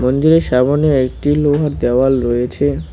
মন্দিরের সামোনে একটি লোহার দেওয়াল রয়েছে।